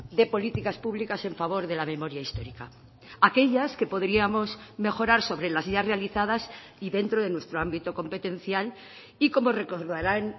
de políticas públicas en favor de la memoria histórica aquellas que podríamos mejorar sobre las ya realizadas y dentro de nuestro ámbito competencial y como recordarán